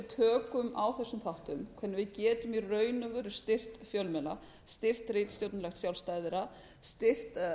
tökum á þessum þáttum þannig að við getum í raun styrkt fjölmiðla styrkt ritstjórnarlegt sjálfstæði þeirra styrkt